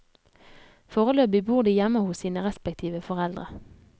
Foreløpig bor de hjemme hos sine respektive foreldre.